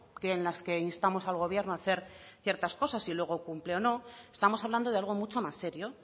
que en las que instamos al gobierno hacer ciertas cosas y luego cumple o no estamos hablando de algo mucho más serio